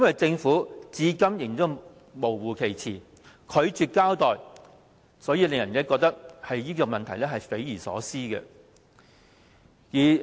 政府至今仍然含糊其辭、拒絕交代，令人覺得這件事件匪夷所思。